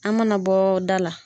An mana bɔ da la